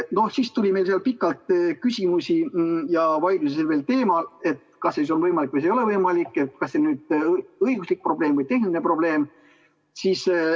Siis tuli meil seal pikalt küsimusi ja vaidlusi teemal, kas see on võimalik või ei ole võimalik ja kas see on õiguslik probleem või tehniline probleem.